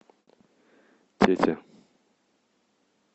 тете